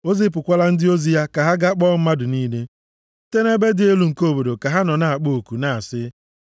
O zipụkwala ndị ozi ya ka ha gaa kpọọ mmadụ niile, site nʼebe dị elu nke obodo ka ha nọ na-akpọ oku na-asị,